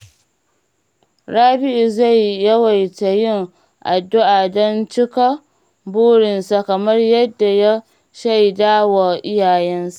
Rabi’u zai yawaita yin addu’a don cika burinsa kamar yadda ya shaida wa iyayensa.